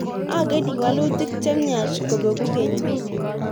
Ageni walutik chemyach kobegu kenyiit